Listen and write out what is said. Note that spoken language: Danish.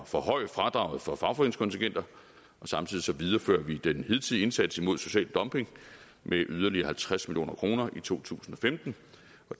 forhøje fradraget for fagforeningskontingenter samtidig viderefører vi den hidtidige indsats imod social dumping med yderligere halvtreds million kroner i to tusind og femten